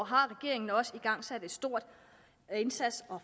har regeringen også igangsat en stor indsats og